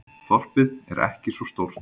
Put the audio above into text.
Þorpið er ekki svo stórt.